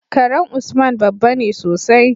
karan usman babbane sosai